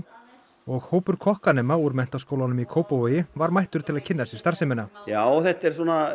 og hópur kokkanema úr Menntaskólanum í Kópavogi var mættur til að kynna sér starfsemina já þetta er